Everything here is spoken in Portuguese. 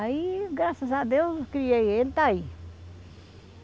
Aí, graças a Deus, criei ele e está aí.